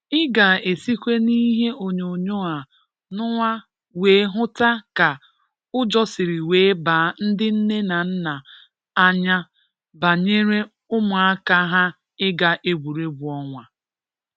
Ị ga-esikwa n’ihe onyonyoo a nụnwa wee hụta ka ụjọ siri wee baa ndị nne na nna anya banyere ụmụaka ha ịga egwuregwu ọnwa